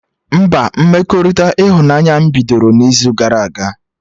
Mba, mmekọrịta ịhụnanya m mebiri n'izu gara aga